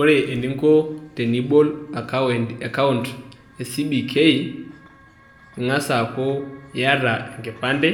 Ore eninko tenibol akaunt e cbk ing'as aku iata enkipande